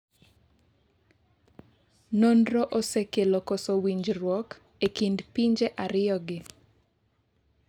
nonro osekelo koso winjruok e kind pinje ariyogi